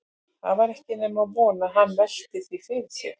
Það var ekki nema von að hann velti því fyrir sér.